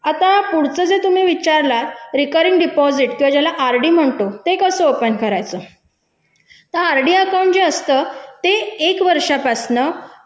आता पुढचं जे तुम्ही विचारलात रिपेरिंग अकाउंट ज्याला आपण आरडी म्हणतो ते कसं ओपन करायचं तर आरडी अकाउंट जे असतं ते एक वर्षापासून